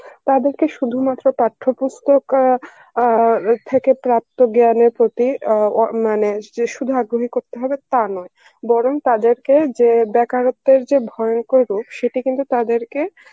তাদেরকে শুধুমাত্র পাঠ্যপুস্তক আ আর থেকে প্রাপ্ত জ্ঞানের প্রতি আ ও মানে যে সুধু আগ্রহী করতে হবে তা নয় বরং তাদের কে বেকারত্বের যে ভয়ংকর রোগ সেটি কিন্তু তাদেরকে